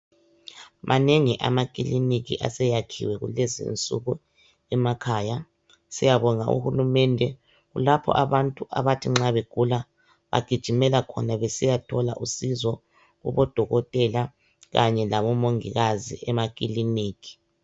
Manengi amakiliniki aseyakhiwe kulezinsuku emakhaya siyabonga uhulumende kulapho abantu abathi nxabegula bagijimela khona besiya thola usizo kubodokotela kanye labomongikazi emakiliniki